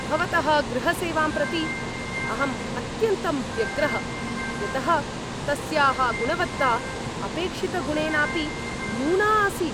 भवतः गृहसेवां प्रति अहं अत्यन्तं व्यग्रः। यतः तस्याः गुणवत्ता अपेक्षितगुणेनापि न्यूना आसीत्।